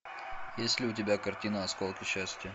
есть ли у тебя картина осколки счастья